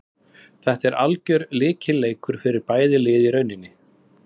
Þetta er algjör lykilleikur fyrir bæði lið í rauninni.